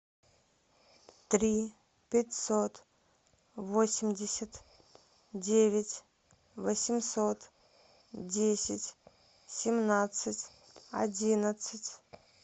три пятьсот восемьдесят девять восемьсот десять семнадцать одиннадцать